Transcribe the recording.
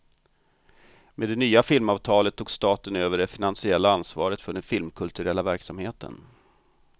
Med det nya filmavtalet tog staten över det finansiella ansvaret för den filmkulturella verksamheten.